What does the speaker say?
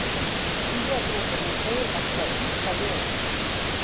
Skýjadroparnir hreyfast á ýmsa vegu.